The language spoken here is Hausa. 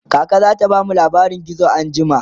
kaka zata bamu labarin gizo anjima